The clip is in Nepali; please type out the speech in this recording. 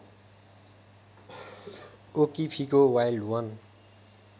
ओकिफीको वाइल्ड वन